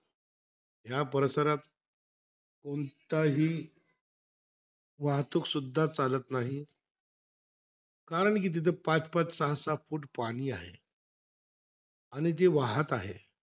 या परिसरात कोणताही वाहतूक सुद्धा चालत नाही. कारण कि तिथे पाच-पाच, सहा-सहा फूट पाणी आहे. आणि ते वाहत आहे.